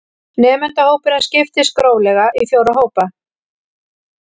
Nemendahópurinn skiptist gróflega í fjóra hópa